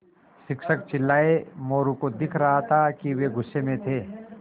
शिक्षक चिल्लाये मोरू को दिख रहा था कि वे गुस्से में थे